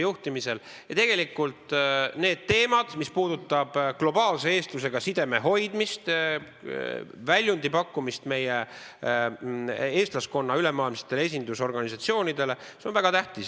Ja tegelikult need teemad, mis puudutavad globaalse eestlusega sideme hoidmist, väljundi pakkumist meie eestlaskonna ülemaailmsetele esindusorganisatsioonidele, need on väga tähtsad.